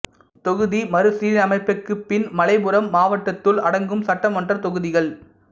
தொகுதி மறுசீரமைப்புக்குப் பின் மலைப்புறம் மாவட்டத்துள் அடங்கும் சட்டமன்றத் தொகுதிகள்